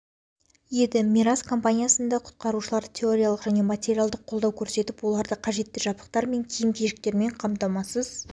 еді мирас командасына құтқарушылар теориялық және материалдық қолдау көрсетіп оларды қажетті жабдықтар мен киім-кешектермен қамтамасыз